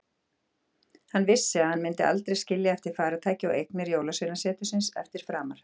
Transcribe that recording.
Hann vissi að hann myndi aldrei skilja eftir farartæki og eignir jólasveinasetursins eftir framar.